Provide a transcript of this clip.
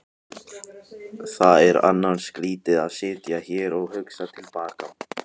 Það er annars skrýtið að sitja hér og hugsa til baka.